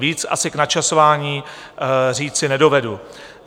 Víc asi k načasování říci nedovedu.